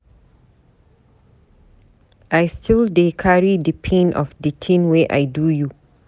I still dey carry di pain of di tin wey I do you.